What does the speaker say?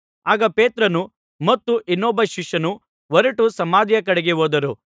ಆಗ ಪೇತ್ರನೂ ಮತ್ತು ಇನ್ನೊಬ್ಬ ಶಿಷ್ಯನೂ ಹೊರಟು ಸಮಾಧಿಯ ಕಡೆಗೆ ಹೋದರು